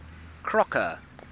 crocker